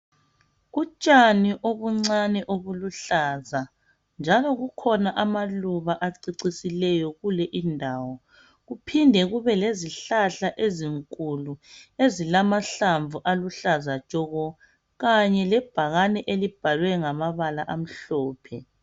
Utshani obuncane obuluhlaza. Njalo kukhona amaluba acecisileyo kule indawo kuphinde kube lezihlahla ezinkulu ezilamahlamvu aluhlaza tshoko kanye lebhakane elibjalwe ngamabala amhlophe.